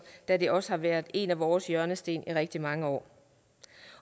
da det også har været en af vores hjørnesten i rigtig mange år